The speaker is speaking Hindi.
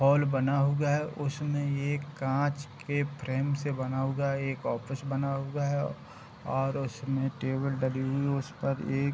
हॉल बना हुआ है | उसमे एक कांच के फ्रेम से बना हुआ एक ऑफिस बना हुआ है और उसमे टेबल डली हुई है | उसपर एक --